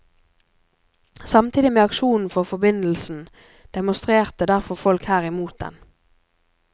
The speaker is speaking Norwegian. Samtidig med aksjonen for forbindelsen, demonstrerte derfor folk her imot den.